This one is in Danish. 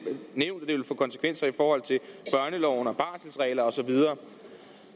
ville få konsekvenser i forhold til børneloven og barselregler og så videre